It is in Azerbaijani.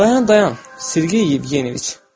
Dayan, dayan, Sirgiy Yevgeniç.